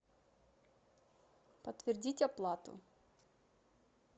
подтвердить оплату